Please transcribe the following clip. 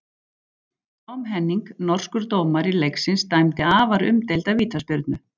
Tom Henning, norskur dómari leiksins dæmdi afar umdeilda vítaspyrnu.